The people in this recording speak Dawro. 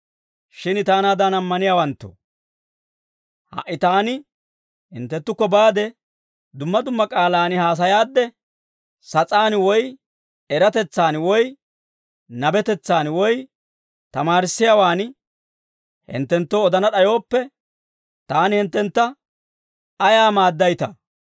Shin taanaadan ammaniyaawanttoo, ha"i taani hinttenttukko baade, dumma dumma k'aalaan haasayaadde, sas'aan woy eratetsaan woy nabetetsaan woy tamaarissiyaawaan hinttenttoo odana d'ayooppe, taani hinttentta ayaa maaddaytaa?